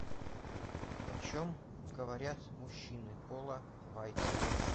о чем говорят мужчины пола вайца